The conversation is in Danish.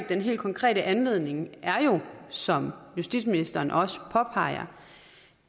den helt konkrete anledning er jo som justitsministeren også påpeger